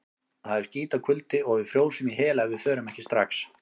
Það er skítakuldi og við frjósum í hel ef við förum ekki strax.